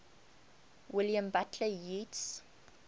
william butler yeats